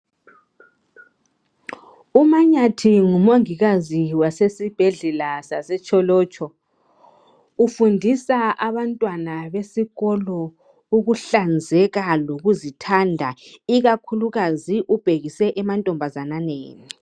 UmaNyathi ngumongikazi wesibhedlela saseTsholotsho ufundisa abantwana besikolo ukuhlanzeka lokuzithanda ikakhulukazi ubhekise kumantombazana.